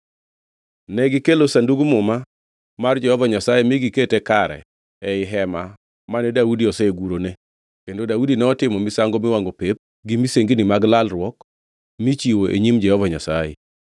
Negikelo Sandug Muma mar Jehova Nyasaye mi gikete kare ei hema mane Daudi osegurone, kendo Daudi notimo misango miwangʼo pep gi misengini mag lalruok michiwo e nyim Jehova Nyasaye.